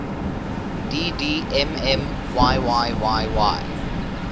dd mm yyyy